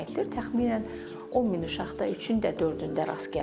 Təxminən 10 min uşaqda üçün də dördündə rast gəlinir.